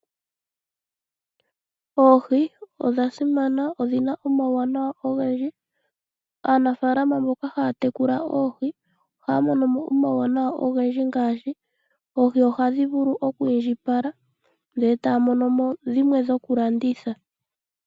Oohii odha simana na odhi na omauwanawa ogendji. Aanafaalama mbono haa tekula oohi oha yedhi landithapo ngele dha indjipala opo yi imonene oshimaliwa.